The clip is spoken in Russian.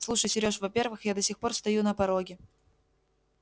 слушай серёж во-первых я до сих пор стою на пороге